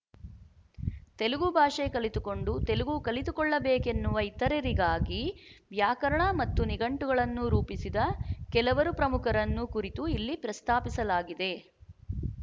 ತೆಲುಗು ಭಾಷೆ ಕಲಿತುಕೊಂಡು ತೆಲುಗು ಕಲಿತುಕೊಳ್ಳಬೇಕೆನ್ನುವ ಇತರರಿಗಾಗಿ ವ್ಯಾಕರಣ ಮತ್ತು ನಿಘಂಟುಗಳನ್ನು ರೂಪಿಸಿದ ಕೆಲವರು ಪ್ರಮುಖರನ್ನು ಕುರಿತು ಇಲ್ಲಿ ಪ್ರಸ್ತಾಪಿಸಲಾಗಿದೆ